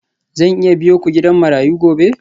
Zan iya biyo ku gidan marayu gobe?